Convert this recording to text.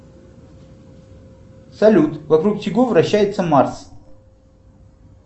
салют вокруг чего вращается марс